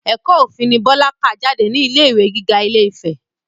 Ẹ̀kọ́ òfin ni Bọlá kà jáde ní ilé ìwé gíga ilé-ìfẹ́